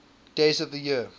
days of the year